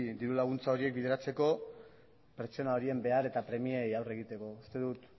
diru laguntza horiek bideratzeko pertsona horien behar eta premiei aurre egiteko uste dut